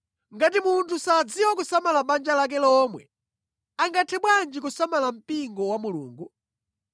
(Ngati munthu sadziwa kusamala banja lake lomwe, angathe bwanji kusamala mpingo wa Mulungu?)